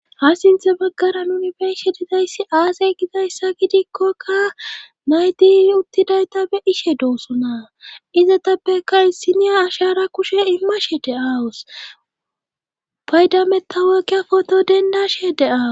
ha sinthe baggara nuni be'ishe didayssi aasay gidayssa gidikkokka nayti uttidayta be'ishe doosona izatappeka isiniya ashara kushe immashe de'awus paydameta woqiya foto dendashe de'awus